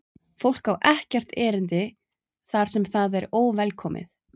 Fólk á ekkert erindi þar sem það er óvelkomið.